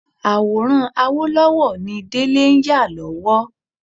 Àwòrán Awólọ́wọ̀ ni Délé ń yà lọ́wọ́lọ́wọ́